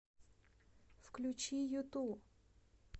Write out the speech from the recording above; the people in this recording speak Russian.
включи юту